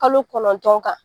Kalo kɔnɔntɔn kan